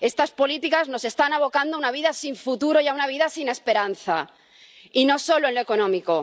Estas políticas nos están abocando a una vida sin futuro y a una vida sin esperanza, y no solo en lo económico.